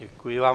Děkuji vám.